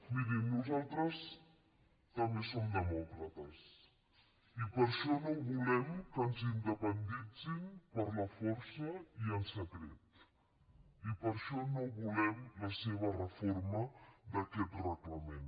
mirin nosaltres també som demòcrates i per això no volem que ens independitzin per la força i en secret i per això no volem la seva reforma d’aquest reglament